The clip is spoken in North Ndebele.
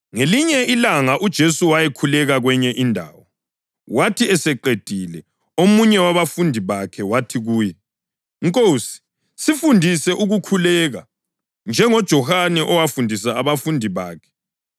Ngelinye ilanga uJesu wayekhuleka kwenye indawo. Wathi eseqedile, omunye wabafundi bakhe wathi kuye, “Nkosi, sifundise ukukhuleka, njengoJohane owafundisa abafundi bakhe.”